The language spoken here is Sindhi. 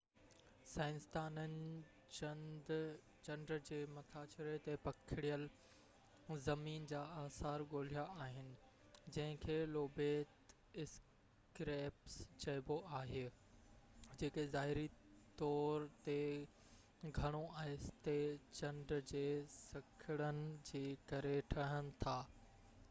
سائنسدانن چنڊ جي مٿاڇري تي پکڙيل زمين جا آثار ڳولهيا آهن جنهن کي لوبيٽ اسڪريپس چئبو آهي جيڪي ظاهري طو تي گهڻو آهستي چنڊ جي سڪڙڻ جي ڪري ٺهن ٿا